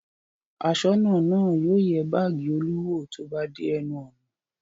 Aṣọ́nà náà yóò yẹ báágì Olú wò tó bá dé ẹnu ọ̀nà.